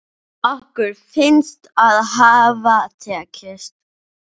Okkur finnst það hafa tekist.